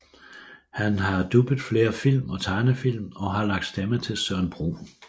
Han har dubbet flere film og tegnefilm og har lagt stemme til Søren Brun